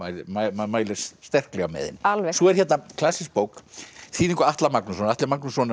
maður mælir sterklega með henni alveg svo er hérna klassísk bók í þýðingu Atla Magnússonar Atli Magnússon